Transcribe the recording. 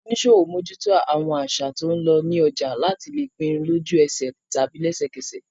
Àwọn oníṣòwò mójúto àwọn àṣà tó ń lọ ní ọjà láti lè pinnu lójú ẹsẹ̀ tàbí lẹsẹ̀ kẹsẹ̀